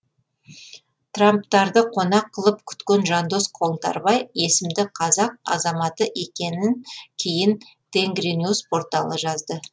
трамптарды қонақ қылып күткен жандос қоңтарбай есімді қазақ азаматы екенін кейін тенгриньюс порталы жазды